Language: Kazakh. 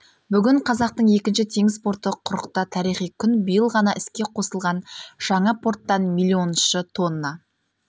бүгін қазақтың екінші теңіз порты құрықта тарихи күн биыл ғана іске қосылған жаңа порттан миллионыншы тонна